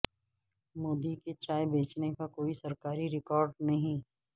مودی کے چائے بیچنے کا کوئی سرکاری ریکارڈ نہیں